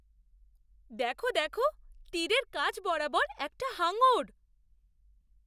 দেখো দেখো! তীরের কাছ বরাবর একটা হাঙর!